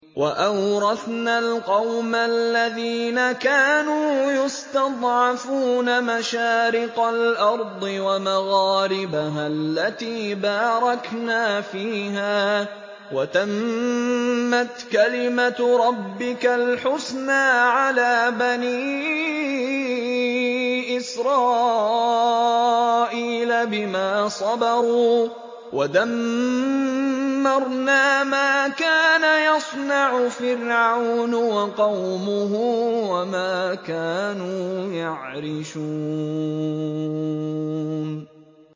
وَأَوْرَثْنَا الْقَوْمَ الَّذِينَ كَانُوا يُسْتَضْعَفُونَ مَشَارِقَ الْأَرْضِ وَمَغَارِبَهَا الَّتِي بَارَكْنَا فِيهَا ۖ وَتَمَّتْ كَلِمَتُ رَبِّكَ الْحُسْنَىٰ عَلَىٰ بَنِي إِسْرَائِيلَ بِمَا صَبَرُوا ۖ وَدَمَّرْنَا مَا كَانَ يَصْنَعُ فِرْعَوْنُ وَقَوْمُهُ وَمَا كَانُوا يَعْرِشُونَ